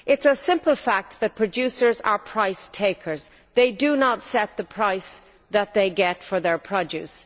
It is a simple fact that producers are price takers they do not set the price that they get for their produce.